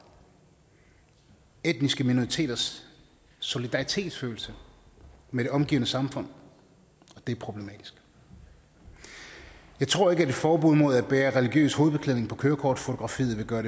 etniske minoriteters solidaritetsfølelse med det omgivende samfund og det er problematisk jeg tror ikke at et forbud mod at bære religiøs hovedbeklædning på kørekortfotografiet vil gøre